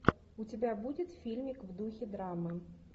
у тебя будет фильмик в духе драмы